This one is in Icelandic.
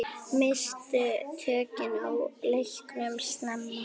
Misstu tökin á leiknum snemma.